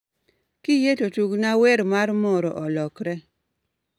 Kiyie to tugna wer mar moro olokre